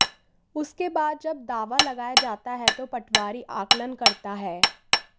उसके बाद जब दावा लगाया जाता है तो पटवारी आकलन करता है